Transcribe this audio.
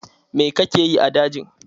Mai kake yi a dajin?